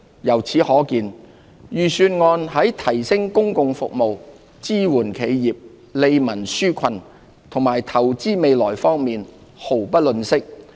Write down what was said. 由此可見，預算案在提升公共服務、支援企業、利民紓困和投資未來方面，毫不吝嗇。